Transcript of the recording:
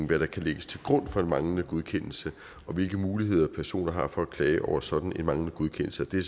hvad der kan lægges til grund for en manglende godkendelse og hvilke muligheder personer har for at klage over sådan en manglende godkendelse og det